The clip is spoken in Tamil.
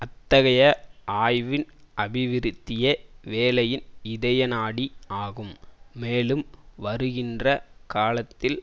அத்தகைய ஆய்வின் அபிவிருத்தியே வேலையின் இதயநாடி ஆகும் மேலும் வருகின்ற காலத்தில்